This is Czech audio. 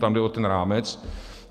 Tam jde o ten rámec.